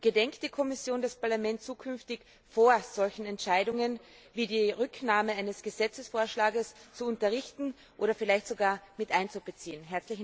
Gedenkt die Kommission, das Parlament künftig vor solchen Entscheidungen wie der Rücknahme eines Gesetzesvorschlages zu unterrichten oder vielleicht sogar miteinzubeziehen?